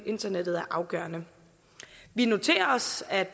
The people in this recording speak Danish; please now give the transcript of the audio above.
internettet er afgørende vi noterer os at